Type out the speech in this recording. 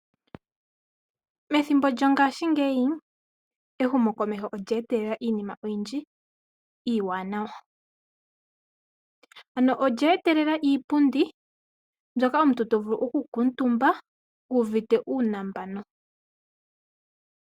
Methimbo lyo ngaashi ngeyi ehumo komeho olyeetelela iinima oyindji iiwanawa, ano olye etelela iipundi ndjoka hatu vulu okukatumba nohokala wu uvite uunambanu.